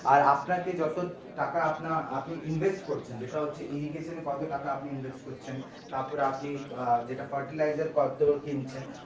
আর আপনাকে যত টাকা আপনার আপনি invest করেছেন যেটা হচ্ছে irrigation এ কত টাকা আপনি invest করছেন তারপর আপনি আহ যেটা fertilizer কত কিনছেন?